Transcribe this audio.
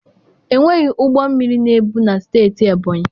Enweghị ụgbọ mmiri na-ebu na steeti Ebọnyi.